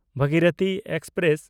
Bhagirathi express